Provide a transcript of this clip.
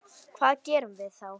Hvað gerum við þá?